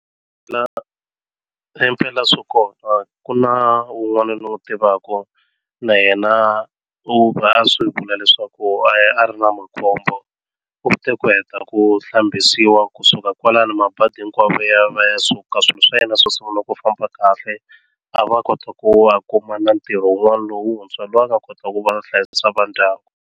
La himpela swi kona ku na un'wana ni wu tivaka na yena u va a swi vula leswaku a ya a ri na makhombo u te ku heta ku hlambisiwa kusuka kwalano mabadi hinkwawo ya va ya suka swilo swa yena swo sungula ku famba kahle a va kota ku a kuma na ntirho wun'wana lowuntshwa loyi a nga kota ku va hlayisa va ndyangu.